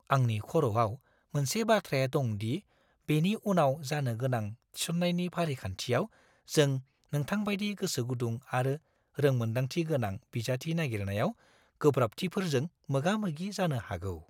आंनि खर'आव मोनसे बाथ्राया दं दि बेनि उनाव जानो-गोनां थिसननायनि फारिखान्थियाव जों नोंथांबायदि गोसोगुदुं आरो रोंमोनदांथि गोनां बिजाथि नागिरनायाव गोब्राबथिफोरजों मोगा-मोगि जानो हागौ।